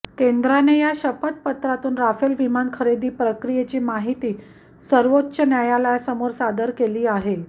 केंद्राने या शपथपत्रातून राफेल विमान खरेदी प्रक्रियेची माहिती सर्वोच्च न्यायालयासमोर सादर केली आहे